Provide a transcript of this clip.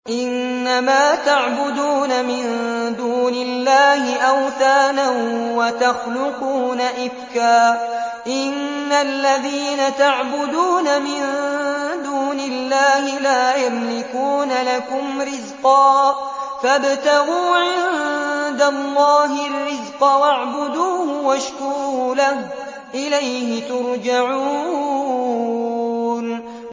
إِنَّمَا تَعْبُدُونَ مِن دُونِ اللَّهِ أَوْثَانًا وَتَخْلُقُونَ إِفْكًا ۚ إِنَّ الَّذِينَ تَعْبُدُونَ مِن دُونِ اللَّهِ لَا يَمْلِكُونَ لَكُمْ رِزْقًا فَابْتَغُوا عِندَ اللَّهِ الرِّزْقَ وَاعْبُدُوهُ وَاشْكُرُوا لَهُ ۖ إِلَيْهِ تُرْجَعُونَ